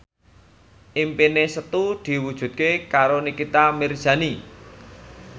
impine Setu diwujudke karo Nikita Mirzani